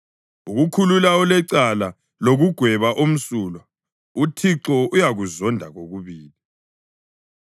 Ukukhulula olecala lokugweba omsulwa uThixo uyakuzonda kokubili.